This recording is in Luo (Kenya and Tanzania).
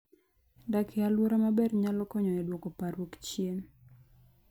Dak e alwora maber nyalo konyo e dwoko parruok chien.